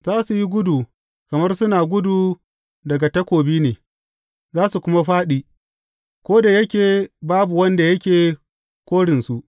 Za su yi gudu kamar suna gudu daga takobi ne, za su kuma fāɗi, ko da yake babu wanda yake korinsu.